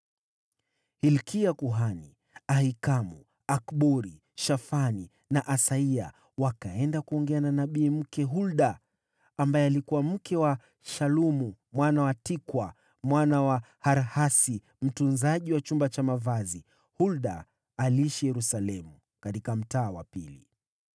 Hilkia kuhani, Ahikamu, Akbori, Shafani na Asaya wakaenda kuongea na nabii mke Hulda, ambaye alikuwa mke wa Shalumu mwana wa Tikwa, mwana wa Harhasi mtunzaji wa chumba cha mavazi. Hulda aliishi Yerusalemu katika Mtaa wa Pili.